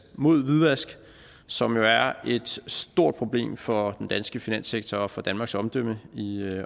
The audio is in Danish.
mod hvidvask som jo er er et stort problem for den danske finanssektor og for danmarks omdømme i